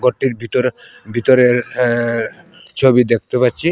ঘরটির ভিতরে ভিতরের আ ছবি দেখতে পাচ্ছি।